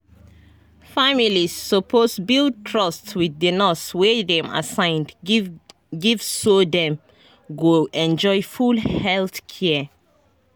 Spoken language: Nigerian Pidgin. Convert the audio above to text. families suppose build trust wit di nurse wey dem assign give give so dem go enjoy full health care.